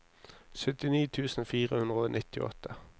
syttini tusen fire hundre og nittiåtte